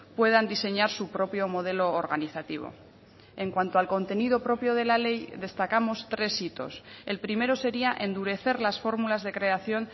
puedan diseñar su propio modelo organizativo en cuanto al contenido propio de la ley destacamos tres hitos el primero sería endurecer las fórmulas de creación